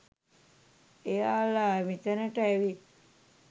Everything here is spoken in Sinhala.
එයාලා මෙතැනට ඇවිත්